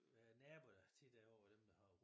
Nabo der tit er ovre dem der har